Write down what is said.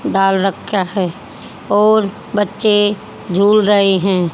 डाल रख्या है और बच्चे झूल रहे हैं।